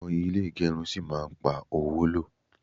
awon ile igerun si ma ma pa owo lo